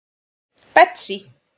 Betsý